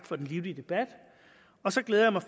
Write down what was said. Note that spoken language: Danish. for den livlige debat og så glæder jeg mig